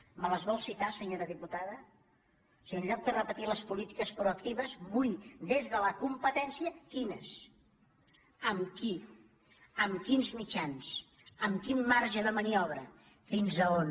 me les vol citar se·nyora diputada o sigui en lloc de repetir les polítiques proactives vull des de la competència quines amb qui amb quins mitjans amb quin marge de maniobra fins a on